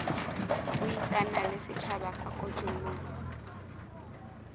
buisana le setjhaba ka kotloloho